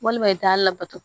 Walima i t'a labato